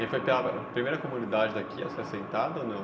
E aí foi pela primeira comunidade daqui a ser assentada ou não?